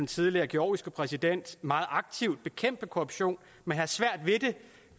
tidligere georgiske præsident meget aktivt bekæmpe korruption men have svært ved det